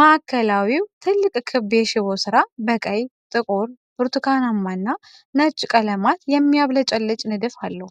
ማዕከላዊው ትልቅ ክብ የሽቦ ሥራ፣ በቀይ፣ ጥቁር፣ ብርቱካናማ እና ነጭ ቀለማት የሚያብለጨልጭ ንድፍ አለው።